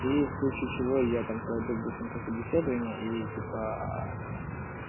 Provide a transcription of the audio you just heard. и в случае чего я там пройду быстренько собеседование и типа